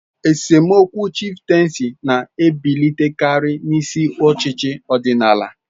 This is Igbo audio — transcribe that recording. Esemokwu chifteensi na-ebilitekari n'isi ochichi odinala.